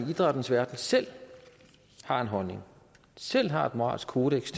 i idrættens verden selv har en holdning selv har et moralsk kodeks